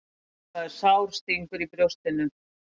Það er sár stingur í brjóstinu.